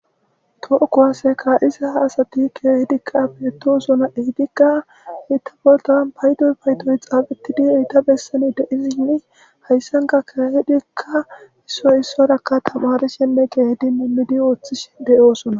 Too kowaseka isa ha asati keehidikqa beetosona ehidikka ita boltan baydoy baytoy xaabetidieita bessani deiziinni hayssanka kahidikka issoy issorakka tamare shenne geeedi minmidi ooththish deyoosona.